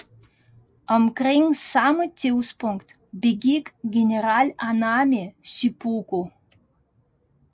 Omkring samme tidspunkt begik general Anami seppuku